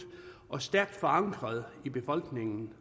og stærkt forankret i befolkningen